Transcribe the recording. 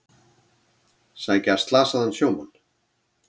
Sækja slasaðan sjómann